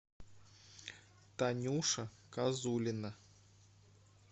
танюша козулина